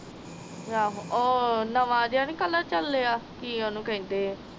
ਆਹ ਉਹ ਨਵਾਂ ਜਾ ਨੀ ਕਲਰ ਚਲੇਆ ਕਿ ਓਹਨੂੰ ਕਹਿੰਦੇ ਆ